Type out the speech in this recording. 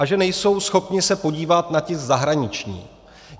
A že nejsou schopni se podívat na ta zahraniční.